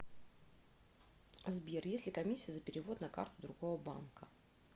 сбер есть ли комиссия за перевод на карту другого банка